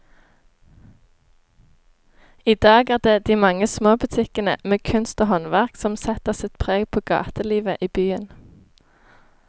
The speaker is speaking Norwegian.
I dag er det de mange små butikkene med kunst og håndverk som setter sitt preg på gatelivet i byen.